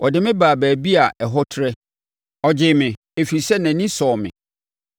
Ɔde me baa baabi a ɛhɔ trɛ; ɔgyee me, ɛfiri sɛ nʼani sɔɔ me.